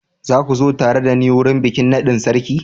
Za kua zo tare da ni wurin bikin nadin sarki.